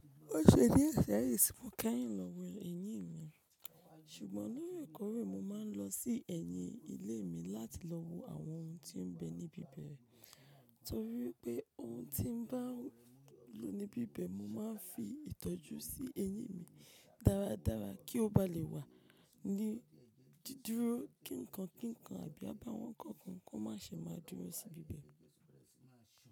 Ó ṣe díẹ̀ seyin ti mo keyin lọ wo ẹ̀yìn mi, ṣùgbọ́n lóòrèkóòrè mo máa ń lọ sí ẹ̀yìn ilé mi láti lọ wo àwọn ohun tí ó ń bẹ níbí bẹ̀. Nítorí pé ohun tí ń bá lọ níbí ba i mo máa ń fi ìtọ́jú sí ẹ̀yìn mi dáradára kí ó ba lè wà ní didúró kín nǹkan kí nǹkan àbí abá wọn kankan kó má ṣe máa dúró sí bí bẹ̀.